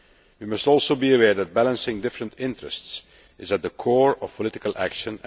We must also be aware that balancing different interests is at the core of political action.